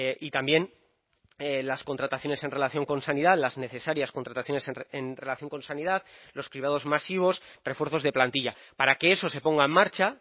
y también las contrataciones en relación con sanidad las necesarias contrataciones en relación con sanidad los cribados masivos refuerzos de plantilla para que eso se ponga en marcha